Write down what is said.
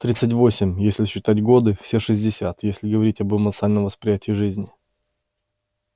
тридцать восемь если считать годы все шестьдесят если говорить об эмоциональном восприятии жизни